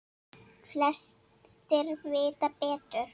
Flestir vita betur.